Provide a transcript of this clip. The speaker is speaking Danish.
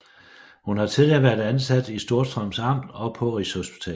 Hun har tidligere været ansat i Storstrøms Amt og på Rigshospitalet